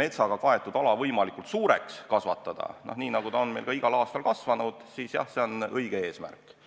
metsaga kaetud ala võimalikult suureks kasvatada – nii nagu ta on meil ka igal aastal kasvanud –, siis jah, see on õige eesmärk.